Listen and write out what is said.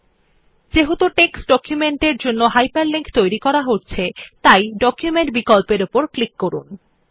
যেহেতু আমরা একটি টেক্সট ডকুমেন্ট এর জন্য একটি হাইপারলিংক তৈরি করছি আপনি ডকুমেন্ট বিকল্পর উপরক্লিক করুন